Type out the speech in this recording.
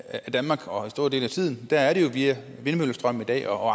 af danmark og store dele af tiden er det jo via vindmøllestrøm i dag og